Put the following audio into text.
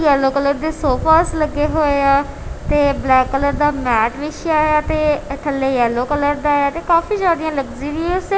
Yellow colour ਦੇ sofas ਲੱਗੇ ਹੋਏ ਆ ਤੇ ਬਲੈਕ ਕਲਰ ਦਾ ਮੈਟ ਵਿੱਛਿਆ ਯਾ ਤੇ ਏਹ ਥੱਲੇ ਯੈੱਲੌ ਕਲਰ ਦਾ ਹੈ ਤੇ ਕਾਫੀ ਜਿਆਦੀਆਂ ਲਗਜ਼ੀਰੀਅਸ ਹੈ।